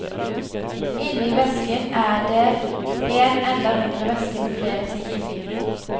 Inne i vesken er det en enda mindre veske, med flere ting inni.